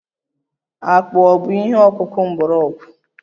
Akpụ ọ̀ bụ ihe ọkụkụ mgbọrọgwụ?